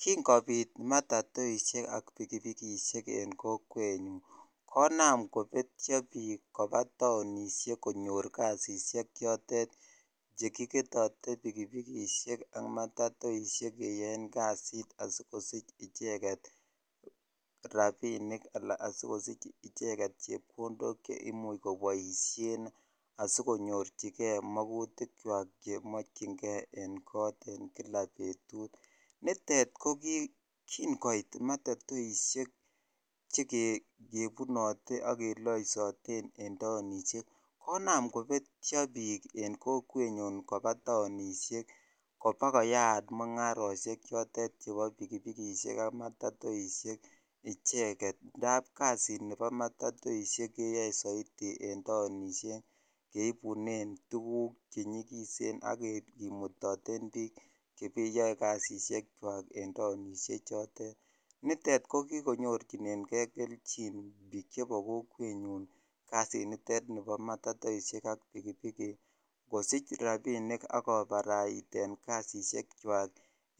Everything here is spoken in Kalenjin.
King'okobit matatoishek ak pikipikishek en kokwenyun konam kobetio biik kobaa taonishek konyor kasisiek chotet chekiketote pikiikishek ak matatoishek keyoen kasit asikosich icheket rabinik alaan asikosich icheket chepkondok cheimuch koboishen asikonyorchike mokutikwak chemokying'e en kot en kila betut, nitet ko kiin kot matatoishek chekebunote ak keloisoten en taonishek konaam kobetio biik kobaa taonishek kobakoyaat mung'aroshek chotet chebo pikipikishek ak matatoishek icheket indaab kasinibo matatoishek keyoe soiti en taonishek keibunen tukuk chenyikisen ak kimutoten biik cheyoe kasisiekwaken taonishe chotet, nitet ko kikonyorchineng'e kelchin biik chebo kokwenyun kasinitet nibo matatoishek ak pikipiki kosich rabinik ak kobaraiten kasishekwak